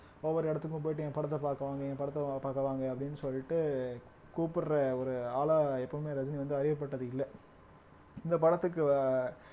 ஒவ்வொரு இடத்துக்கும் போயிட்டு என் படத்த பார்க்க வாங்க என் படத்த பார்க்க வாங்க அப்படின்னு சொல்லிட்டு கூப்பிடுற ஒரு ஆளா எப்பவுமே ரஜினி வந்து அறியப்பட்டது இல்ல இந்த படத்துக்கு ஆஹ்